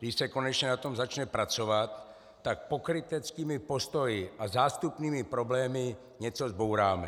Když se konečně na tom začne pracovat, tak pokryteckými postoji a zástupnými problémy něco zbouráme.